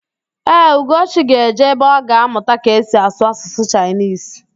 Ee, Ugochi ga-eje ebe ọ ga-amụta ka esi asụ Asụsụ Chaịnisi